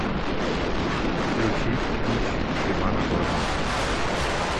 включить дичь ивана дорна